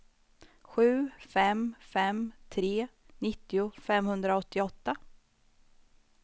sju fem fem tre nittio femhundraåttioåtta